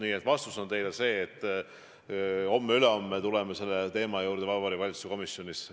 Nii et vastus on teile see, et homme-ülehomme tuleme selle teema juurde Vabariigi Valitsuse komisjonis.